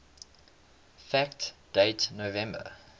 fact date november